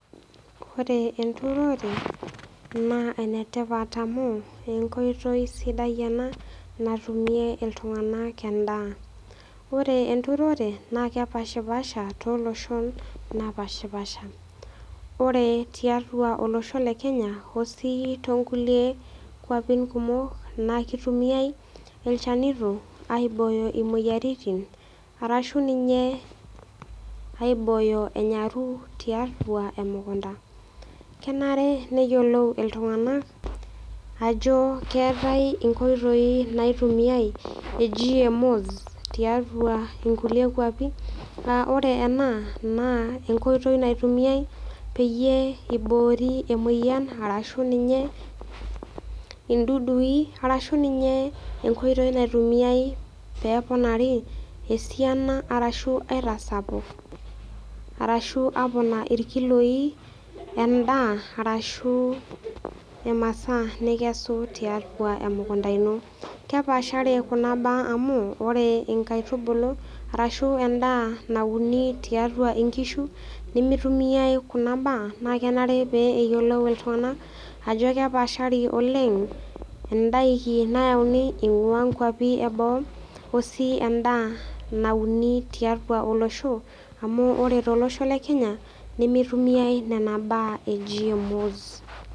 Ore enturore naa enetipat amu enkoitoi sidai ena natumie iltung'anak endaa. Ore enturore naa kepashpaasha tooloshon naapashpaasha. Ore tiatua olosho le Kenya o sii toonkulie kuapin kumok nakeitumiai ilchanito aibooyo imoyaritin arashu ninye aibooyo enyaru tiatua emukunta. Kenare neyiolou iltung'anak ajo keetai inkoitoi naitumia e GMOs tiatua inkulie kuapi [aa] ore ena naa enkoitoi naitumiai peyie eiboori emoyan arashu ninye indudui arashu ninyee enkoitoi naitumiai peeponari esiana arashu aitasapuk arashu aponaa irkiloi lendaa arashuu imasaa nikesu tiatua emukunta ino. Kepaashari kuna baa amu ore inkaitubulu arashu endaa nauni tiatua inkishu nimitumiai kuna baa naakenare pee eyiolou iltung'anak ajo kepaashari oleng' indaiki nayauni eing'uaa nkuapi eboo o sii endaa nauni tiatua olosho amu ore tolosho le Kenya nemeitumiai nena baa e GMOs.